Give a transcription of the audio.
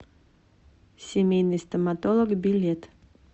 семейный стоматолог билет